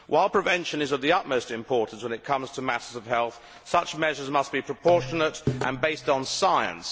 While prevention is of the utmost importance when it comes to matters of health, such measures must be proportionate and based on science.